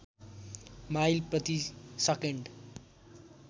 mile प्रतिसकेन्ड